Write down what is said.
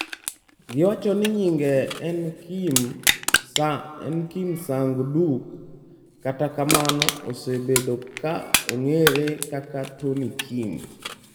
Giwacho ni nyinge en Kim Sang-duk, kata kamano osebedo ka ong'ere kaka Tony Kim.